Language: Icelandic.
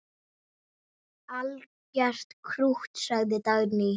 Algert krútt, sagði Dagný.